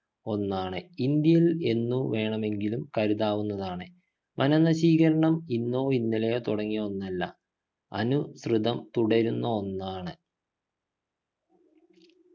ഒന്നാണ് ഇന്ത്യയിൽ എന്ന് വേണമെങ്കിലും കരുതാവുന്നതാണ് വനനശീകരണം ഇന്നോ ഇന്നലെയോ തുടങ്ങിയ ഒന്നല്ല അനുസൃതം തുടരുന്ന ഒന്നാണ്